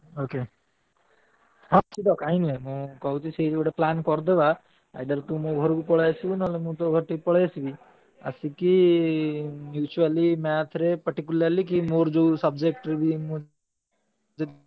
Okay ହଁ ନିଶ୍ଚିନ୍ତ କାଇଁ ନୁହେଁ ମୁଁ କହୁଛି ଗୋଟେ plan କରିଦବା। ଆଉ ନହେଲେ ତୁ ମୋ ଘରୁକୁ ପଳେଇଆସିବୁ ନହେଲେ ମୁଁ ତୋ ଘରୁକୁ ଟିକେ ପଳେଇଆସିବି ଆସିକି mutually math ରେ particularly କି ମୋର ଯୋଉ subject ରେ ମୁଁ ।